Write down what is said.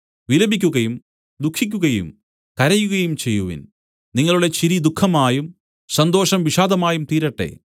വിലപിക്കുകയും ദുഃഖിക്കുകയും കരയുകയും ചെയ്യുവിൻ നിങ്ങളുടെ ചിരി ദുഃഖമായും സന്തോഷം വിഷാദമായും തീരട്ടെ